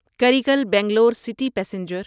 Karaikal Bangalore city passenger